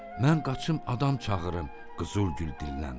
Mən qaçım adam çağırım deyə Qızıl Gül dilləndi.